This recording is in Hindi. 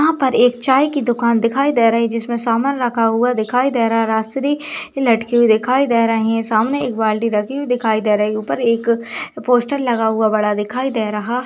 यहाँ पर एक चाय की दुकान दिखाई दे रही जिसमे सामान रखा हुआ दिखाई दे रहा हैं राजश्री लटकी हुई दिखाई दे रही है सामने एक बाल्टी रखी हुई दिखाई दे रही ऊपर एक पोस्टर लगा हुआ बड़ा दिखाई दे रहा--